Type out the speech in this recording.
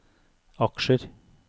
aksjer